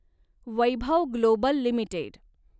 Vaibhav global limited